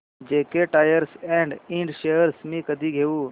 JK tyre and इंड shares मी कधी घेऊ